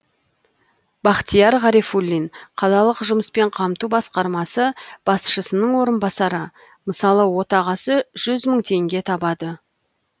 бахтияр ғарифуллин қалалық жұмыспен қамту басқармасы басшысының орынбасары мысалы отағасы жүз мың теңге табады